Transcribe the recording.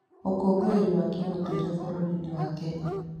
Ũkũngũĩri wa kĩũndũire bũrũri-inĩ wa Kenya.